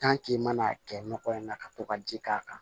i mana kɛ nɔgɔ in na ka to ka ji k'a kan